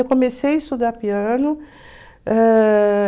Eu comecei a estudar piano. Ãh...